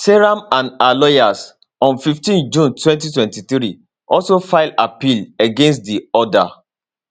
seyram and her lawyers on 15 june 2023 also file appeal against di order